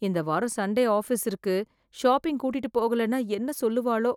இந்த வாரம் Sunday office இருக்கு ஷாப்பிங் கூட்டிட்டு போகலைன்னா என்ன சொல்லுவாளோ